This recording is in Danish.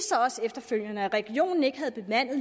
sig også efterfølgende at regionen ikke havde bemandet